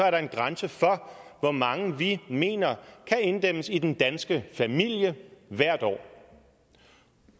er en grænse for hvor mange vi mener kan inddæmmes i den danske familie hvert år